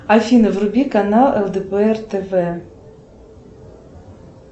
афина вруби канал лдпр тв